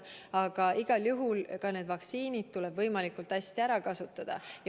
Aga igal juhul tuleb ka vaktsiinid võimalikult hästi ära kasutada.